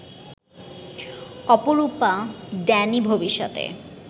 অপরূপা ড্যানি ভবিষ্যতে